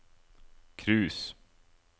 cruise